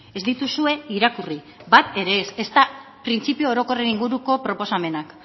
ez dituzue irakurri bat ere ez ezta printzipio orokorren inguruko proposamenak